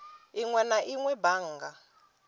inwe na inwe a bannga